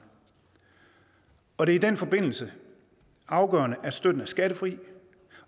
og det er i den forbindelse afgørende at støtten er skattefri